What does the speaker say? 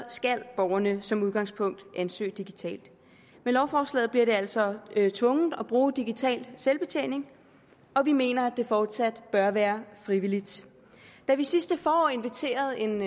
skal borgerne som udgangspunkt ansøge digitalt med lovforslaget bliver det altså tvunget at bruge digital selvbetjening og vi mener at det fortsat bør være frivilligt da vi sidste forår inviterede en